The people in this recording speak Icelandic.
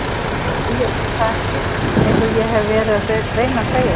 Nei ég veit það ekki einsog ég hef verið að reyna að segja þér.